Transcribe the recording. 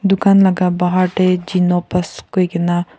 dukan laka bahar te gnopus koi kena.